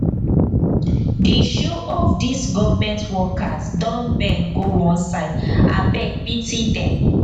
di shoe of these government workers don bend go one side abeg pity dem.